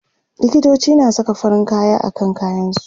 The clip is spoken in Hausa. likitoci na Saka farin kaya akan kayan su